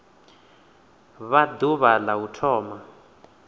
vha ḓuvha la u thoma